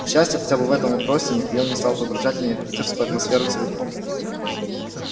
к счастью хотя бы в этом вопросе михаил не стал погружать меня в питерскую атмосферу целиком